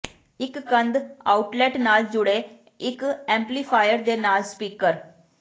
ਇੱਕ ਕੰਧ ਆਊਟਲੈੱਟ ਨਾਲ ਜੁੜੇ ਇੱਕ ਐਮਪਲੀਫਾਇਰ ਦੇ ਨਾਲ ਸਪੀਕਰ